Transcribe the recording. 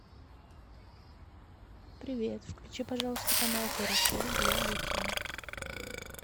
привет включи пожалуйста канал карусель для детей